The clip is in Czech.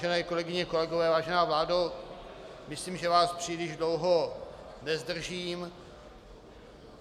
Vážené kolegyně, kolegové, vážená vládo, myslím, že vás příliš dlouho nezdržím.